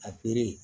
A